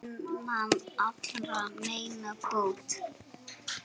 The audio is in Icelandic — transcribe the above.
Vinnan allra meina bót.